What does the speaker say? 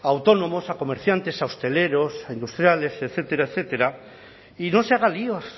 a autónomos a comerciantes a hosteleros a industriales etcétera etcétera y no se haga líos